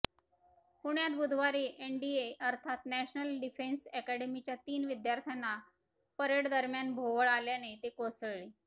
पुण्यात बुधवारी एनडीए अर्थात नॅशनल डिफेन्स ऍकॅडमीच्या तीन विद्यार्थ्यांना परेडदरम्यान भोवळ आल्याने ते कोसळले